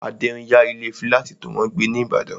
Adé n yá ilé fílátì tó wọ́n gbé ní ìbàdàn